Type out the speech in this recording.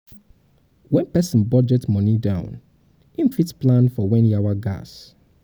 when person budget money down im fit plan for when yawa gas